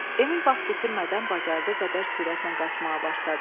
Emil vaxt itirmədən bacardıq qədər sürətlə qaçmağa başladı.